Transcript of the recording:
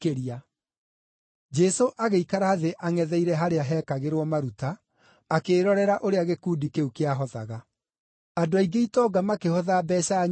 Jesũ agĩikara thĩ angʼetheire harĩa heekagĩrwo maruta, akĩĩrorera ũrĩa gĩkundi kĩu kĩahothaga. Andũ aingĩ itonga makĩhotha mbeeca nyingĩ.